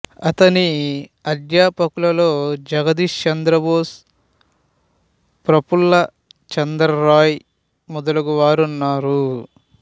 అతని అధ్యాపకులలో జగదీష్ చంద్రబోసు ప్రఫుల్ల చంద్ర రాయ్ మొదలగువారు ఉన్నారు